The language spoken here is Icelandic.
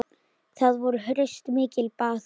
Þar voru reist mikil baðhús.